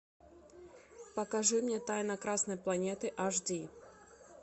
покажи мне тайна красной планеты аш ди